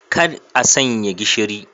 Kar a sanya gishiri.